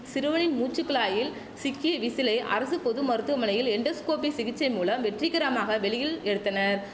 சிறுவனின் மூச்சு குழாயில் சிக்கிய விசிலை அரசு பொது மருத்துவமனையில் எண்டோஸ்கோபி சிகிச்சை மூலம் வெற்றிகரமாக வெளியில் எடுத்தனர்